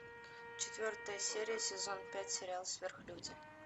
четвертая серия сезон пять сериал сверхлюди